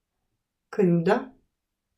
Krivda?